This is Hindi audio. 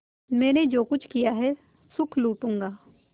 मैंने जो कुछ किया है सुख लूटूँगा